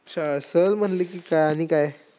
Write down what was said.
श सहल म्हणलं की काय आणि काय?